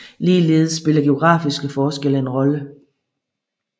Ligeledes spiller geografiske forskelle en rolle